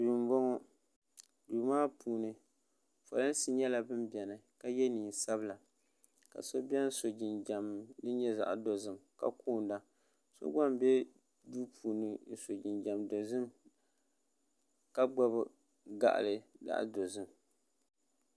Duu m boŋɔ duu maa puuni polinsi nyɛla nin biɛni ka ye niɛn'sabila ka so biɛni so jinjiɛm din nyɛ zaɣa dozim ka koonda so gba m be duu puuni n so jinjiɛm dozim ka gbibi gaɣali zaɣa dozim.